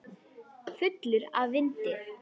Fullur af vindi.